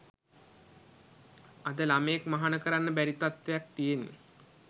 අද ළමයෙක් මහණ කරන්න බැරි තත්වයක් තියෙන්නේ